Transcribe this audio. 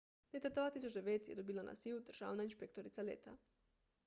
leta 2009 je dobila naziv državna inšpektorica leta